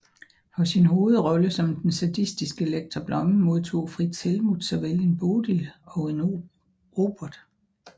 For sin hovedrolle som den sadistiske lektor Blomme modtog Frits Helmuth såvel en Bodil og en Robert